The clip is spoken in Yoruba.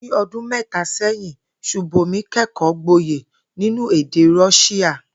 Ní o̩dún mé̩ta sé̩yìn, S̩ùbòmí ké̩kò̩ó̩ gboyè nínú èdè Ró̩s̩íà